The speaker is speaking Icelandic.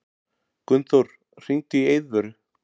Gunnþór, hringdu í Eiðvöru.